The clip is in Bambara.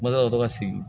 Masala ka to ka sigi